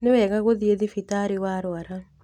Nĩwega gũthiĩthibitarĩwarwara.